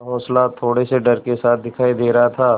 का हौंसला थोड़े से डर के साथ दिखाई दे रहा था